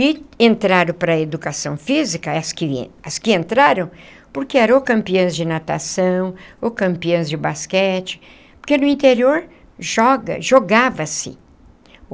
E entraram para a educação física, as que as que entraram, porque ou eram campeãs de natação, ou campeãs de basquete, porque no interior joga jogava-se.